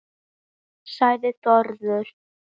sagði Þórður